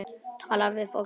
Tala við fólkið.